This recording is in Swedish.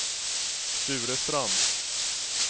Sture Strand